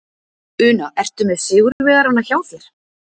Una, ertu með sigurvegarana hjá þér?